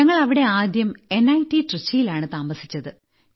ഞങ്ങൾ അവിടെ ആദ്യം നിറ്റ് ട്രിച്ചി യിലാണ് താമസിച്ചത്